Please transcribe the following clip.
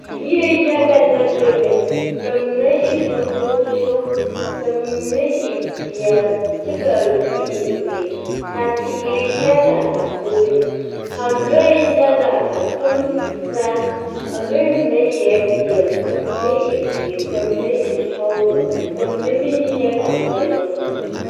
Yie yaga la bebe ka mine e sankoso ka mine e peɛle kyɛ kaa zu e ziiri ka teere yaga a bebe ka lɔɛ yaga a toŋ tutaa a lɔɛ mine eɛ peɛle, ka mine e ziiri, ka mine e sɔglɔ, ka mine meŋ yi nyɛ tanpɛloŋ na.